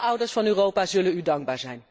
alle ouders van Europa zullen u dankbaar zijn.